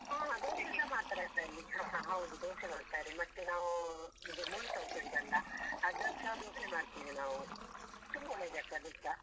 ಹಾ ಹಾ. ದೋಸೆಸ ಮಾಡ್ತಾರೆ ಅದ್ರಲ್ಲಿ ಹಾ ಹಾ ಹೌದು ದೋಸೆ ಮಾಡ್ತಾರೆ ಮತ್ತೆ ನಾವು ಇದು ಮುಳ್ಳುಸೌತೆ ಉಂಟಲ್ಲ ಅದ್ರದ್ಸ ದೋಸೆ ಮಾಡ್ತೀವಿ ನಾವು, ತುಂಬ ಒಳ್ಳೆದಾಗ್ತದೆ ಅದುಸ.